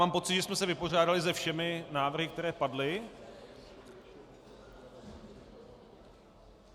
Mám pocit, že jsme se vypořádali se všemi návrhy, které padly.